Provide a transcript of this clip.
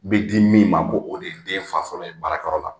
N bɛ di min ma ko o de ye den fa fɔlɔ ye baarakɔrɔ la